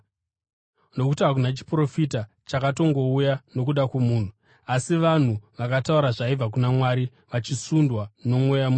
Nokuti hakuna chiprofita chakatongouya nokuda kwomunhu, asi vanhu vakataura zvaibva kuna Mwari vachisundwa noMweya Mutsvene.